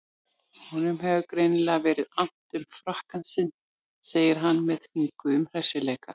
Honum hefur greinilega verið annt um frakkann sinn, segir hann með þvinguðum hressileika.